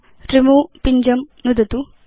remove पिञ्जं नुदतु